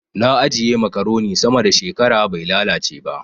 Na ajiye makaroni sama da shekara bai lalace ba.